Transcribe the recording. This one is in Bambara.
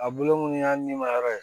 A bolo munnu y'a nima yɔrɔ ye